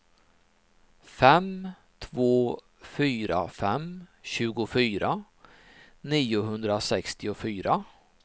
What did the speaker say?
fem två fyra fem tjugofyra niohundrasextiofyra